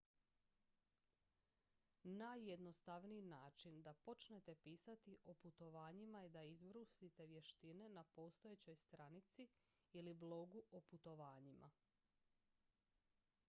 najjednostavniji način da počnete pisati o putovanjima je da izbrusite vještine na postojećoj stranici ili blogu o putovanjima